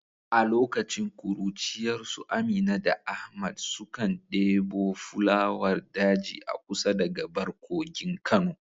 A lokacin kuruciyarsu Amina da Ahmad sukan debo fulawar daji a kusa da gabar kogin Kano.